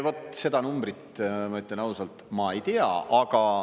Vot seda numbrit ma, ütlen ausalt, ma ei tea.